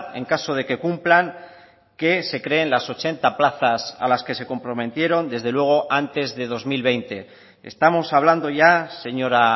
en caso de que cumplan que se creen las ochenta plazas a las que se comprometieron desde luego antes de dos mil veinte estamos hablando ya señora